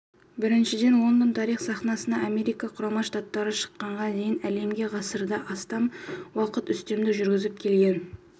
біріншіден лондон тарих сахнасына америка құрама штаттары шыққанға дейінгі әлемге ғасырдан астам уақыт үстемдік жүргізіп келген